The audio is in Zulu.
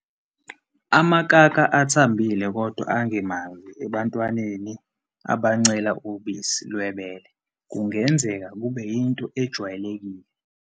Amakaka athambile kodwa angemanzi ebantwaneni abancela ubisi lwebele, kungenzeka, kube yinto ejwayelekile.